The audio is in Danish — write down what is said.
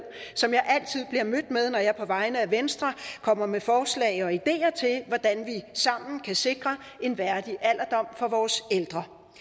som jeg altid bliver mødt med når jeg på vegne af venstre kommer med forslag og ideer til hvordan vi sammen kan sikre en værdig alderdom for vores ældre